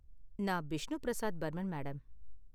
நான் பிஷ்ணு பிரசாத் பர்மன், மேடம்.